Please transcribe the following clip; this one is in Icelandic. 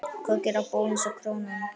Hvað gera Bónus og Krónan?